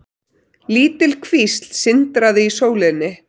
Lítil kvísl sindraði í sólinni.